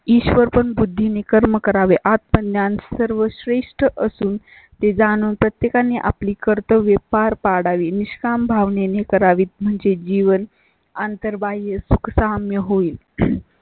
ईश्वर पण बुद्धीने कर्म करावें. आत्मज्ञान या सर्व श्रेष्ठ असून ती जाणून प्रत्येका ने आपली कर्तव्ये पार पाडा वी निष्काम भावनेने करावी म्हणजे जीवन अंतर्बाह्य सुख सहा मी होईल.